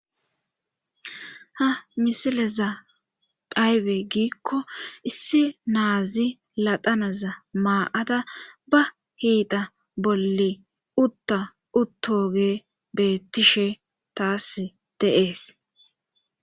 ha misileza phaybe giikko issi naazi ladanaza maa7ada ba hiita bolle utta uttoge beettishe taas deees